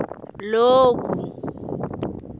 loku